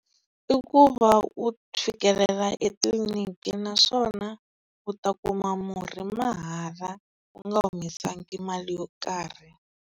I ku va u fikelela etliliniki naswona u ta kuma murhi mahala u nga humesangi mali yo karhi.